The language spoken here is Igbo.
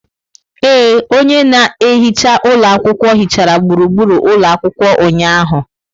Ee, onye na-ehicga ụlọ akwụkwọ hichara gburugburu ụlọ akwụkwọ ụnyahụ.